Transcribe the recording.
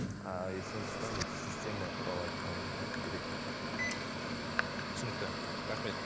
ааа иии сондықтан система туралы айтқан ол керек мхм түсінікті рахмет